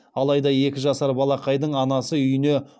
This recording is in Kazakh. алайда екі жасар балақайдың анасы үйіне